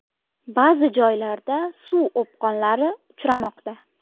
Ba’zi joylarda suv o‘pqonlari uchramoqda.